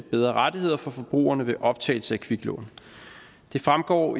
bedre rettigheder for forbrugerne ved optagelse af kviklån det fremgår